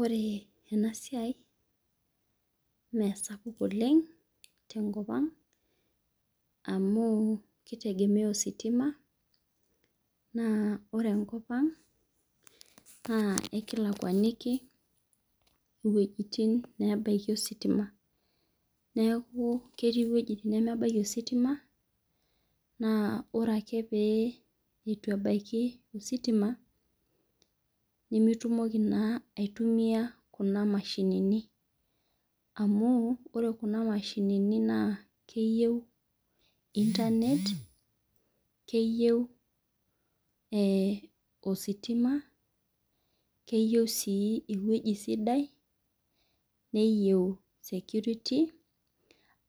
Ore enasiai mesapuk Oleng' tenkop ang' amu kitegemea ositima na ore enkop ang' ekilakwaniki wuejitin natii ositima neaku ketii wuejitin nemebaki ositima na ore ake pituebaki ositima nimitumoki aitumia kunamashinini amu ore kuna mashinini nakeyieu ositima neyieu ewoi sidai neyieu security